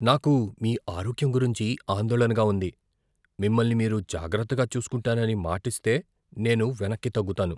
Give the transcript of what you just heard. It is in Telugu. నాకు మీ ఆరోగ్యం గురించి ఆందోళనగా ఉంది, మిమ్మల్ని మీరు జాగ్రత్తగా చూసుకుంటానని మాటిస్తే నేను వెనక్కి తగ్గుతాను.